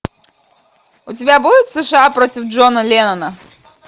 у тебя будет сша против джона леннона